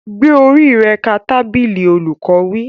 Gbé orí rẹ ka tábìlì! Olùkọ́ wí.